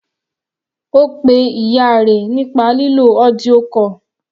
Ó pe ìyá rẹ̀ nípa lílo audio call.